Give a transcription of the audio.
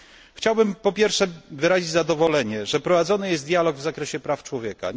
Chciałbym po pierwsze wyrazić zadowolenie, że prowadzony jest dialog w zakresie praw człowieka.